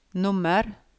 nummer